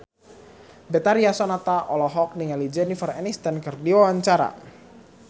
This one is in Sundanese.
Betharia Sonata olohok ningali Jennifer Aniston keur diwawancara